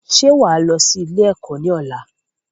Ṣé wá lọ sí ilé ẹ̀kọ́ ni ọ̀la?